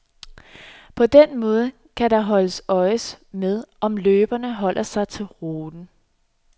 På den måde kan der holdes øje med, om løberne holder sig til ruten.